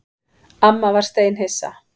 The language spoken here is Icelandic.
Amma var steinhissa.